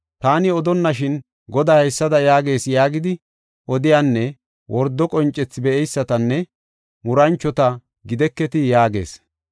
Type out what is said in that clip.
Taani odonnashin, Goday haysada yaagees yaagidi odiyanne wordo qoncethi be7eysatanne muranchota gideketii?” yaagees.